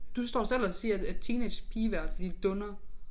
Du står selv og siger at at teenagepigeværelse de dundrer